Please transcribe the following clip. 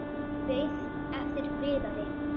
Beið eftir Viðari.